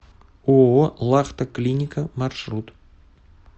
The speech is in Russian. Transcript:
ооо лахта клиника маршрут